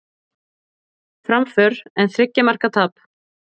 Framför en þriggja marka tap